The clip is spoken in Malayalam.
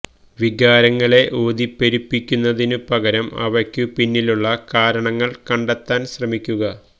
വികാരങ്ങളെ ഊതിപ്പെരുപ്പിക്കുന്നതിനു പകരം അവയ്ക്കു പിന്നിലുള്ള കാരണങ്ങൾ കണ്ടെത്താൻ ശ്രമിക്കുക